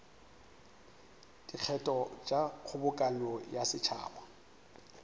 dikgetho tša kgobokano ya setšhaba